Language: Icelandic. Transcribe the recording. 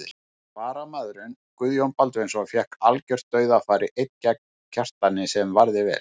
Varamaðurinn Guðjón Baldvinsson fékk algjört dauðafæri einn gegn Kjartani sem varði vel.